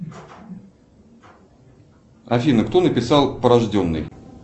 афина кто написал порожденный